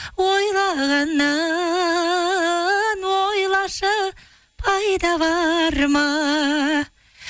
ойлағаннан ойлашы пайда бар ма